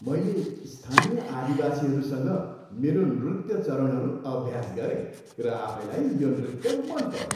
मैले स्थानीय आदिवासीहरूसँग मेरो नृत्य चरणहरू अभ्यास गरेँ र आफैलाई यो नृत्य मन पऱ्यो।